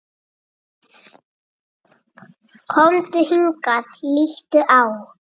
Komdu hingað, líttu á!